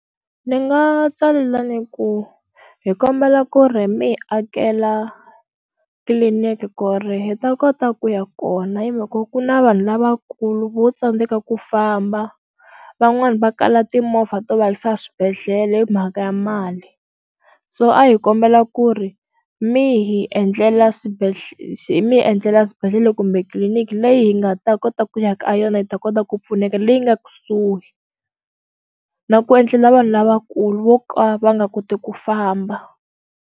Ni nga tsalela ni ku hi kombela ku ri mi hi akela tliliniki ku ri hi ta kota ku ya kona hi mhaka ku na vanhu lavakulu vo tsandzeka ku famba van'wani va kala timovha to va yisa swibedhlele hi mhaka ya mali so a hi kombela ku ri mi hi endlela swibedhlele mi hi endlela swibedhlele kumbe tliliniki leyi hi nga ta kota ku ya ka yona yi ta kota ku pfuneka leyi nga kusuhi na ku endlela vanhu lavakulu vo ka va nga koti ku famba.